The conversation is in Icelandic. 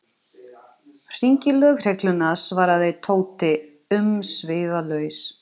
Hringja í lögregluna svaraði Tóti umsvifalaust.